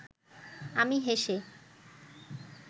আমি হেসে